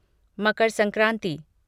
Makar Sankranti